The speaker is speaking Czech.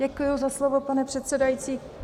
Děkuji za slovo, pane předsedající.